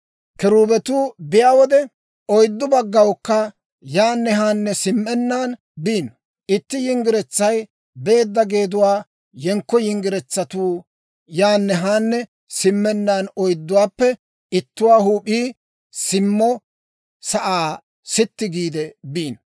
Kiruubetuu biyaa wode, oyddu baggawukka yaanne haanne simmennaan biino; itti yinggiretsay beedda geeduwaa yenkko yinggiretiyaawanttu yaanne haanne simmennaan oydduwaappe ittuwaa huup'ii simmo sa'aa sitti giide biino.